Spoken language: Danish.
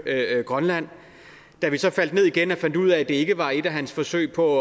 grønland da vi så faldt ned igen og fandt ud af at det ikke var et af hans forsøg på